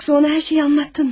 Yoksa ona her şeyi anlattın mı?